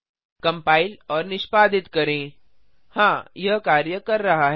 compile और निष्पादित करें हाँ यह कार्य कर रहा है